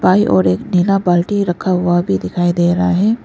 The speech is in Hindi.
बाईं और एक नीला बाल्टी रखा हुआ भी दिखाई दे रहा है।